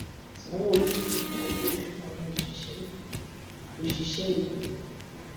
sanwóolu fi kún owóoṣù àwọn òṣìṣẹ èkó òṣìṣẹ èkó